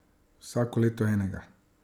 Vsako leto enega.